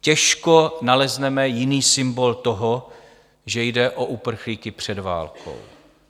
Těžko nalezneme jiný symbol toho, že jde o uprchlíky před válkou.